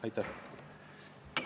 Aitäh!